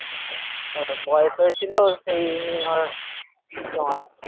বয়স হয়েছিল সেই নিয়ে ওর তোমার